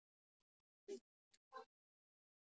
Hún heyrir hana hlæja.